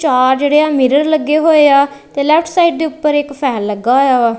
ਚਾਰ ਜਿਹੜੇ ਆ ਮਿਰਰ ਲੱਗੇ ਹੋਏ ਆ ਤੇ ਲੈਫ਼੍ਟ ਸਾਈਡ ਦੇ ਉੱਪਰ ਇੱਕ ਫੈਨ ਲੱਗਾ ਹੋਇਆ ਵਾ।